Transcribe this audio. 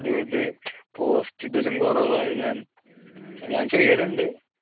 അതുകൊണ്ട് post ഇടലും കുറവാണ് ഞാൻ ഞാൻ ചെയ്യലുണ്ട്